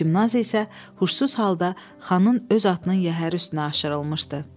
Çimnaz isə huşsuz halda xanın öz atının yəhəri üstünə aşırılmışdı.